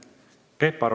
Peep Aru.